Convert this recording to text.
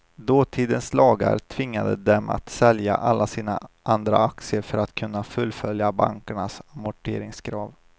Dåtidens lagar tvingade dem att sälja alla sina andra aktier för att kunna fullfölja bankernas amorteringskrav.